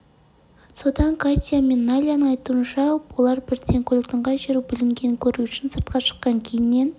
содан катя мен найляның айтуынша олар бірден көліктің қай жері бүлінгенін көру үшін сыртқа шыққан кейіннен